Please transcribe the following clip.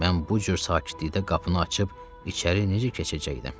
Mən bu cür sakitlikdə qapını açıb içəri necə keçəcəkdim?